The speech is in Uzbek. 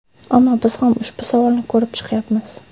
Ammo biz ham ushbu savolni ko‘rib chiqyapmiz.